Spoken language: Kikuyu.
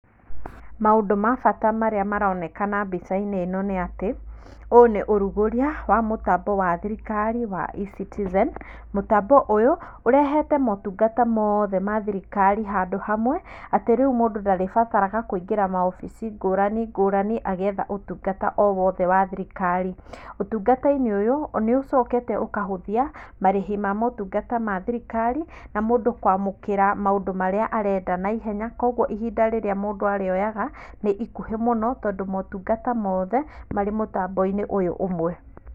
Maũndũ ma bata marĩa maronekana mbicainĩ ĩno nĩ atĩ, ũũ nĩũrugũria wa mũtambo wa thirikari wa eCitizen, mũtambo ũyũ ũrehete motungata mothe ma thirikari handũ hamwe atĩ rĩu mũndũ ndarĩbatarana kũingĩra maũbici ngũrani ngũrani agĩetha ũtungata owothe wa thirikari. Ũtungatainĩ ũyũ nĩũcokete ũkahũthia marĩhi ma ũtungata wa thirikari na mũndũ kwamũkĩra maũndũ marĩa arenda naihenya kwoguo ihinda rĩrĩa mũndũ arĩ oyaga nĩ ikuhi mũno tondũ motungata mothe marĩ mũtamboinĩ ũyũ ũmwe.